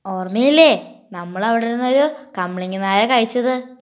ഓർമ്മയില്ലേ